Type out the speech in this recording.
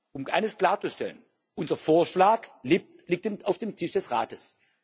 Um eines klarzustellen Unser Vorschlag liegt auf dem Tisch des Rates.